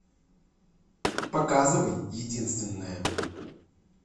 показывай единственная